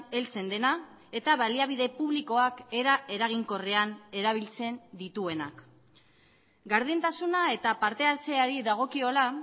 heltzen dena eta baliabide publikoak era eraginkorrean erabiltzen dituenak gardentasuna eta parte hartzeari dagokiola